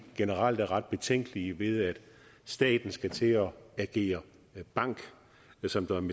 generelt er ret betænkelige ved at staten skal til at agere bank som